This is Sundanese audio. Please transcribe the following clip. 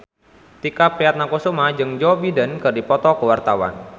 Tike Priatnakusuma jeung Joe Biden keur dipoto ku wartawan